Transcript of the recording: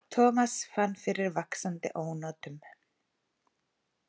Thomas fann fyrir vaxandi ónotum.